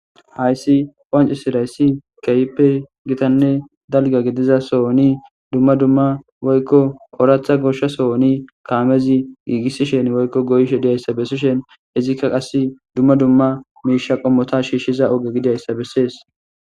Hayssi qoaanci sidayssi keyppe gitanne dalga gidiza sohoni dumma dumma woykko oratha goshshasohoni kaamezi giigissishen woykko goyshe diyayssa bessishen izikka qas dumma dumma miisha qommota shiishshiza oge gidayssa bessees